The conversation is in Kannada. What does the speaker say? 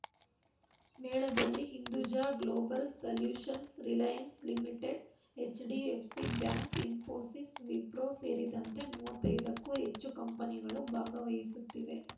ಮೇಳದಲ್ಲಿ Hinduja Global Solutions Reliance Limited HDFC Bank Infosys Wipro ಸೇರಿದಂತೆ ಮೂವತ್ತೈದಕ್ಕೂ ಹೆಚ್ಚು ಕಂಪೆನಿಗಳು ಭಾಗವಹಿಸುತ್ತಿವೆ